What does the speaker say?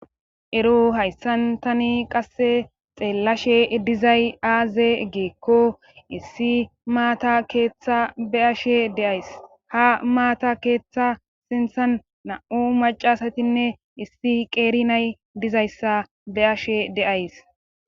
Ero hayssantani qasse xeellashe dizay aaze geekko issi maata keeththa be ashe deays ha maata keeththa sinthan na'u macasatinne issi qeerinay dizayssa be ashe deays.